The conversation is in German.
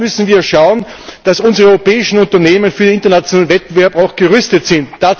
Daher müssen wir schauen, dass unsere europäischen Unternehmen für den internationalen Wettbewerb auch gerüstet sind.